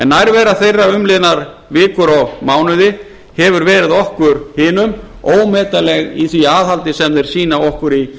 nærvera þeirra umliðnar vikur og mánuði hefur verið okkur hinum ómetanleg í því aðhaldi sem þeir sýna okkur í